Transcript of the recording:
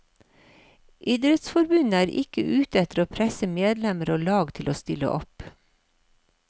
Idrettsforbundet er ikke ute etter å presse medlemmer og lag til å stille opp.